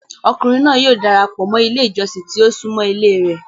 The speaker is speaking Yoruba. Ọkùnrìn náà yóò darapọ mọ́ ilẹ̀ ìjọ̀ṣìn tí o sùnmọ́ ilẹ̀ rẹ̀.